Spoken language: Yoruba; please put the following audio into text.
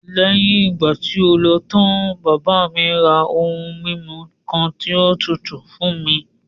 Léyìn ìgbà tí o lọ tán, bàbá mi ra ohun mímu kan tí ó tutù fún mi.